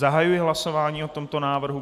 Zahajuji hlasování o tomto návrhu.